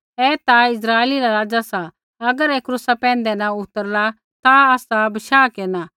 ऐईयै दुज़ै बचाये होर आपणै आपा बै नैंई बच़ाई सकदा ऐ तौ इस्राइला रा राज़ा सा अगर ऐ क्रूसा पैंधै न उतरला ता आसा विश्वास केरना